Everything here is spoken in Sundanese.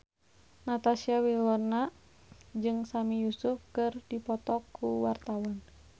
Natasha Wilona jeung Sami Yusuf keur dipoto ku wartawan